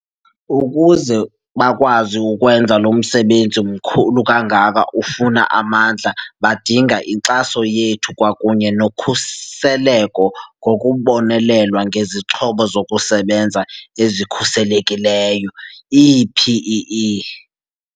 Ukuze bakwazi ukwenza lo msebenzi mkhulu kangaka ufuna amandla badinga inkxaso yethu kwakunye nokhuseleko ngokubonelelwa ngezixhobo zokusebenza ezikhuselekileyo, ii-PEE.